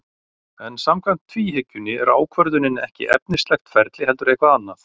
En samkvæmt tvíhyggjunni er ákvörðunin ekki efnislegt ferli heldur eitthvað annað.